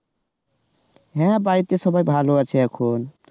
হ্যাঁ বাড়িতে সবাই ভালো আছে এখন